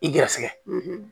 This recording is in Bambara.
I garisɛgɛ